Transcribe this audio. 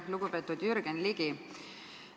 Lugupeetud Jürgen Ligi!